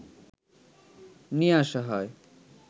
নিয়ে আসা হয়